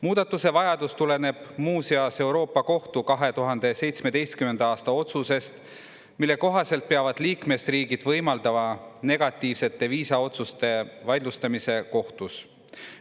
Muudatuse vajadus tuleneb muuseas Euroopa Kohtu 2017. aasta otsusest, mille kohaselt peavad liikmesriigid võimaldama negatiivsete viisaotsuste vaidlustamise kohtus.